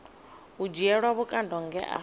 u dzhielwa vhukando nge a